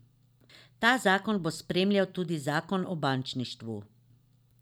Ta zakon bo spremljal tudi zakon o bančništvu.